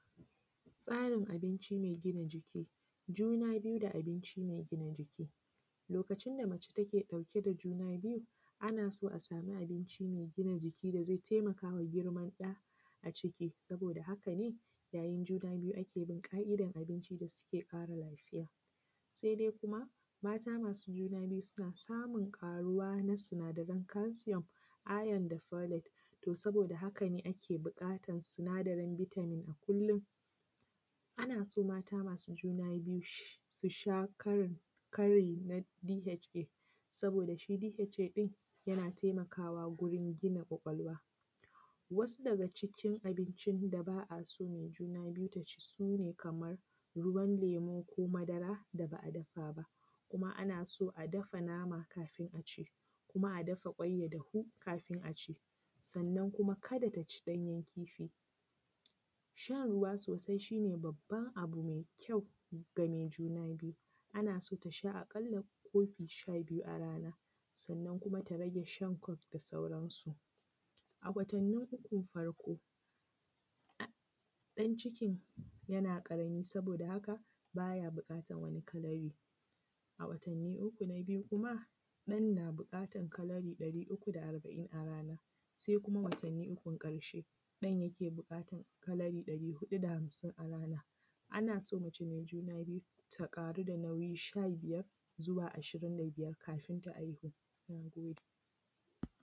Tsarin abinci mai gina jiki, juna biyu da abinci mai gina jiki. Lokaci da mace take ɗauke da juna biyu ana so a samu abinci mai gina jiki da zai taimakawa girman da a ciki, saboda haka ne ya yin juna biyu ake bin ka’idan abinci da suke ƙara lafiya, sai dai kuma mata masu juna biyu suna samun ƙaruwa na sinadaran kalsiyom, ayon da folit, to saboda haka ne ake buƙatan su sinadarin bitamin a kullum. Ana son mata masu juna biyu sh, su sha kari, su sha kari na DHA, saboda da shi DHA ɗin yana taimakawa guri gina ƙwaƙwalwa. Wasu daga cikin abincin da ba a so mai juna biyu taci su ne kamar ruwan lemo ko madara dana a dafa ba, kuma ana so a dafa nama kafin aci, kuma a dafa kwai ya dafu kafin aci, sannan kuma kada taci ɗanyen kifi. Shan ruwa sosai shi ne babban abu mai kyau ga mai juna biyu, ana so tasha a kalla kofi sha biyu a rana, sannan kuma ta rage shan kok da sauransu. A watanin ukun farko, dan cikin yana ƙarami saboda haka baya buƙatan wani kalari,a watanin uku na biyu kuma ɗan na buƙatan kalari ɗari uku da arba’in a raba, sai kuma watani ukun ƙarshe ɗan yake buƙatan kalari ɗari huɗu da hamsin a rana. Ana so mace mai juna biyu ta ƙaru da nauyi sha biyar zuwa ashirin da biyar kafin ta haihu. Na gode.